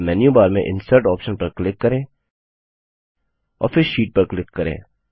अब मेन्यूबार में insert option पर क्लिक करें और फिर शीट पर क्लिक करें